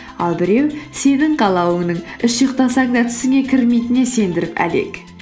ал біреу сенің қалауыңның үш ұйықтасаң да түсіңе кірмейтініне сендіріп әлек